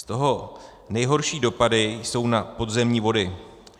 Z toho nejhorší dopady jsou na podzemní vody.